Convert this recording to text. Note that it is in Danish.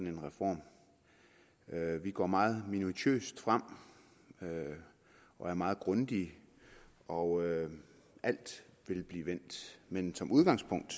en reform vi går meget minutiøst frem og er meget grundige og alt vil blive vendt men som udgangspunkt